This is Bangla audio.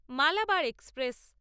মালাবার এক্সপ্রেস